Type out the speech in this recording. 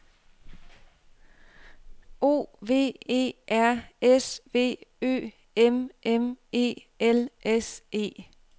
O V E R S V Ø M M E L S E